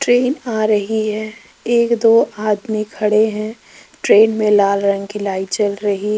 train आ रही है एक दो आदमी खड़े हैं ट्रेन में लाल रंग की लाइट जल रही --